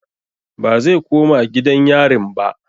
Bazai koma gidan yarin ba